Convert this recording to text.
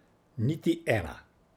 Niti ena.